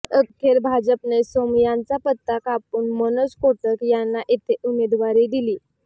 अखेर भाजपने सोमय्यांचा पत्ता कापून मनोज कोटक यांना इथे उमेदवारी दिली